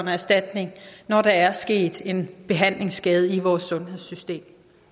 erstatning når der er sket en behandlingsskade i vores sundhedssystem